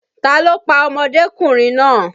Ta ló pa ọmọdékùnrin náà?